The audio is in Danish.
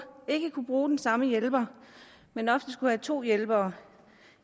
ikke kunne bruge den samme hjælper men ofte skulle have to hjælpere